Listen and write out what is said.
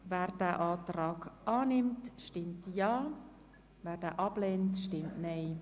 Wer diesen Antrag annimmt, stimmt Ja, wer diesen ablehnt, stimmt Nein.